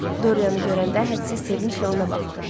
Dorianı görəndə hədsiz sevinclə ona baxdı.